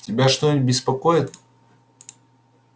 тебя что-нибудь беспокоит